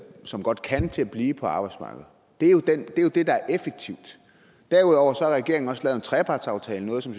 som godt kan til at blive på arbejdsmarkedet det er det der er effektivt derudover har regeringen også lavet en trepartsaftale noget som